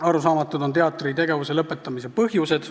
Arusaamatud on teatri tegevuse lõpetamise põhjused.